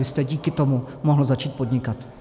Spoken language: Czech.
Vy jste díky tomu mohl začít podnikat.